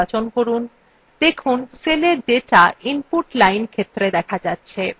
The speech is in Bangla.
দেখুন সেলের ডেটা input line ক্ষেত্রে data যাচ্ছে